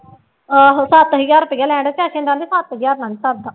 ਆਹੋ ਸੱਤ ਹਜ਼ਾਰ ਰੁਪਇਆ ਲੈਣਡਿਆ ਕਹਿੰਦੀ ਸੱਤ ਹਜ਼ਾਰ ਨਾਲ ਨੀ ਸਰਦਾ।